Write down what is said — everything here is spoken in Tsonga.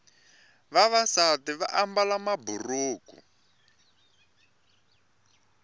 vavasati vaambala maburuku